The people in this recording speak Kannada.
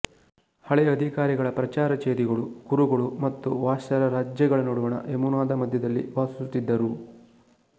ಹಳೆಯ ಅಧಿಕಾರಿಗಳ ಪ್ರಕಾರ ಚೇದಿಗಳು ಕುರುಗಳು ಮತ್ತು ವಾತ್ಸ್ಯರ ರಾಜ್ಯಗಳ ನಡುವಣ ಯಮುನಾದ ಮಧ್ಯದಲ್ಲಿ ವಾಸಿಸುತ್ತಿದ್ದರು